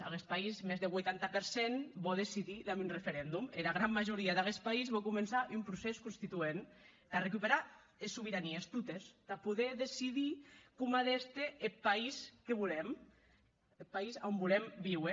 aguest país mès deth vuitanta per cent vò decidir damb un referendum era gran majoria d’aguest país vò començar un procès constituent tà recuperar es sobeiranies totes tà poder decidir coma a d’èster eth país que volem eth país a on volem víuer